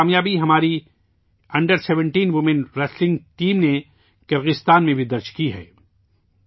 ایسی ہی ایک کامیابی ہماری under seventeen women wrestling team نے کرغزستان میں بھی درج کی ہے